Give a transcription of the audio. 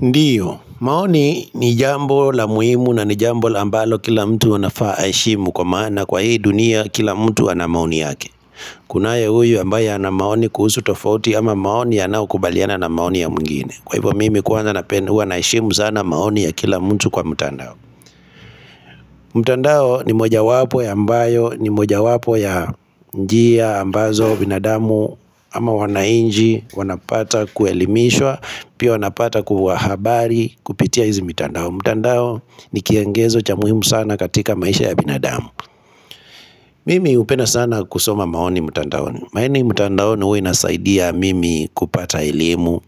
Ndiyo, maoni ni jambo la muhimu na ni jambo la ambalo kila mtu anafaa aheshimu kwa maana kwa hii dunia kila mtu ana maoni yake Kunaye huyu ambaye ana maoni kuhusu tofauti ama maoni yanayo kubaliana na maoni ya mwingine Kwa hivyo mimi kwanza napenda huwa naheshimu sana maoni ya kila mtu kwa mtandao mtandao ni moja wapo ya ambayo ni moja wapo ya njia ambazo binadamu ama wananchi wanapata kuelimishwa Pia wanapata kuwa habari kupitia hizi mitandao mtandao ni kiongezo cha muhimu sana katika maisha ya binadamu Mimi hupenda sana kusoma maoni mtandaoni maoni mtandaoni hua inasaidia mimi kupata elimu